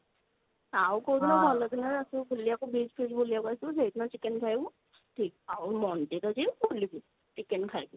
ଆଉ କଉଦିନ ଭଲ ଦିନ ରେ ଆସିବୁ ବୁଲିବାକୁ beach ଫିଚ ବୁକିବାକୁ ଆସିବୁ ସେଇଦିନ chicken ଖାଇବୁ ଠିକ ଆଉ ମନ୍ଦିର ଯାଇ ବୁଲିବି chicken ଖାଇବି